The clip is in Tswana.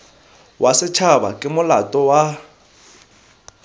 wa setšhaba ke molato wa